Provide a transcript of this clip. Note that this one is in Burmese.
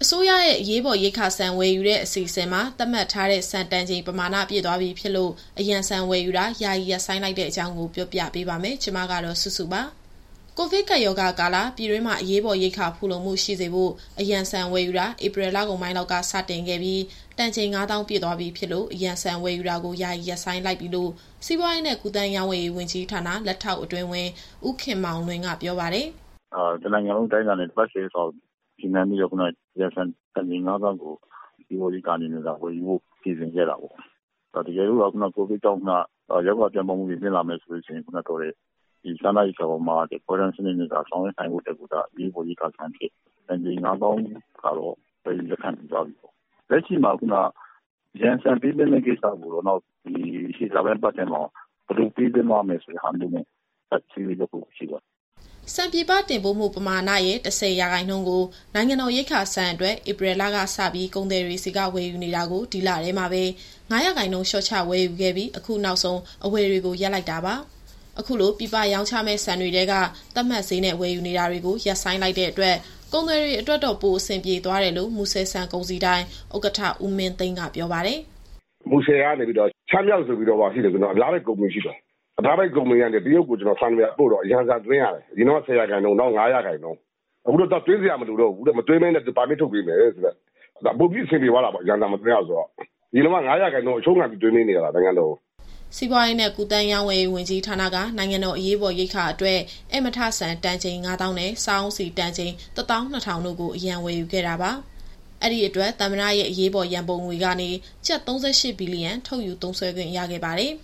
စိုးရရဲ့ အရေးပေါ် ရိက္ခာဆန် ဝယ်ယူတဲ့အစီအစဉ်မှာ သတ်မှတ်ထားတဲ့ဆန်တန်ချိန် ပမာဏပြည့်သွားပြီဖြစ်လို့ အရန်ဆန်ဝယ်ယူတာ ယာယီရပ်ဆိုင်းလိုက်တဲ့အကြောင်းကို ဗွီအိုအေမြန်မာပိုင်း သတင်းထောက်စုစုက ပြောပြပေးပါမယ်။ ကိုဗစ်ကပ်ရောဂါကာလ ပြည်တွင်းမှာ အရေးပေါ်ရိက္ခာ ဖူလုံမှုရှိစေဖို့ အရန်ဆန်ဝယ်ယူတာ ဧပြီလကုန်ပိုင်းလောက်ကစတင်ခဲ့ပြီး တန်ချိန် ၅၀,၀၀၀ ပြည့်သွားပြီဖြစ်လို့ အရန်ဆန်ဝယ်ယူတာကို ယာယီရပ်ဆိုင်းလိုက်ပြီလို့ စီးပွားရေးနဲ့ ကူးသန်းရောင်းဝယ်ရေး ဝန်ကြီးဌာန လက်ထောက်အတွင်းဝန် ဦးခင်မောင်လွင်က ပြောပါတယ်။ “အရေးပေါ်ရိက္ခာဆန်ဆိုတာ တနိုင်ငံလုံးအတိုင်းအတာနဲ့ တပတ် - ၁ဝရက်စာကို ရည်မှန်းပြီးတော့ အရန်ဆန်တန်ချိန် ၅၀,၀၀၀ ကို အရေးပေါ်ရိက္ခာ အနေနဲ့ဝယ်ယူဖို့ စီစဉ်ခဲ့တာပေါ့။ တကယ်လို့သာ ကိုဗစ်ကြောင့် ရောဂါပြန့်ပွားမှုတွေ မြင့်လာမယ်ဆိုရင် ဒီစားနပ်ရိက္ခာအပေါ် ခွဲတမ်းစနစ်နဲ့ ဆောင်ရွက်နိုင်ဖို့အတွက် အရေးပေါ်ရိက္ခာဆန်တန်ချိန် ၅၀,၀၀၀ ကတော့ ဝယ်ယူလက်ခံပြီးသွားပြီပေါ့။ လက်ရှိမှာ အရန်ဆန်ပေးသွင်းတဲ့ကိစ္စကို လာမယ့်အပတ်ထဲမှာ ဘယ်လိုပေးသွင်းသွားမယ်ဆိုတဲ့ဟာမျိုး ဆက်ဆွေးနွေး သွားဖို့ရှိတယ်။” ဆန်ပြည်ပတင်ပို့မှု ပမာဏရဲ့ ၁၀ရာခိုင်နှုန်းကို နိုင်ငံတော်ရိက္ခာဆန်အတွက် ဧပြီလကစပြီး ကုန်သည်တွေဆီကဝယ်ယူနေတာကို ဒီလထဲမှာပဲ ၅ ရာခိုင်နှုန်း လျှော့ချဝယ်ယူခဲ့ပြီး အခုနောက်ဆုံး အဝယ်တွေကို ရပ်လိုက်တာပါ။ အခုလို ပြည်ပရောင်းချမယ့် ဆန်တွေထဲက သတ်မှတ်ဈေးနဲ့ ဝယ်ယူနေတာတွေကို ရပ်ဆိုင်းလိုက်တဲ့အတွက် ကုန်သည်တွေအတွက်တော့ ပိုအဆင်ပြေသွားတယ်လို့ မူဆယ်ဆန်ကုန်စည်ဒိုင် ဥက္ကဌ ဦးမင်းသိန်းက ဆိုပါတယ်။ “မူဆယ်ကနေ ရှမ်းမြောက်ဆိုပြီးတော့ ကျနော်တို့က အများပိုင်ကုမ္ပဏီရှိတယ်။ အများပိုင်ကုမ္ပဏီကနေ တရုတ်ကိုဆန်ပို့တော့ အရန်ဆန်သွင်းရတယ်။ အရင်တုန်းက ၁ဝရာခိုင်နှုန်း၊ အခု ၅ရာခိုင်နှုန်း။ အခုတော့သွင်းစရာ မလိုတော့ဘူး။ မသွင်းဘဲနဲ့ ပါမစ်ထုတ်ပေးမယ်တဲ့။ ဒါပိုပြီးအဆင်ပြေသွားတာပေါ့- အရန်ဆန်မသွင်းရဘူးဆိုတော့။ အရင်တုန်းက ၅ရာခိုင်နှုန်း အရှုံးခံပြီးသွင်းပေးနေရတာ နိုင်ငံတော်ကို။” စီးပွားရေးနဲ့ ကူးသန်းရောင်းဝယ်ရေး ဝန်ကြီးဌာနက နိုင်ငံအရေးပေါ် ရိက္ခာအတွက် ဧည့်မထဆန် တန်ချိန် ၅၀,၀၀၀ နဲ့ စားအုံးဆီတန်ချိန် ၁၂,၀၀၀ တို့ကို အရန်ဝယ်ယူခဲ့တာပါ။ အဲဒီအတွက် သမ္မတရဲ့အရေးပေါ် ရန်ပုံငွေကနေ ကျပ် ၃၈ ဘီလီယံ ထုတ်ယူသုံးစွဲခွင့်ရခဲ့ပါတယ်